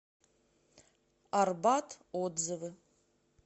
арбат отзывы